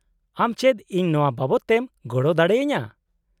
- ᱟᱢ ᱪᱮᱫ ᱤᱧ ᱱᱚᱶᱟ ᱵᱟᱵᱚᱫᱛᱮᱢ ᱜᱚᱲᱚ ᱫᱟᱲᱮᱭᱟᱹᱧᱟᱹ ?